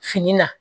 Fini na